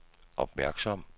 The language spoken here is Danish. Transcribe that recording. opmærksom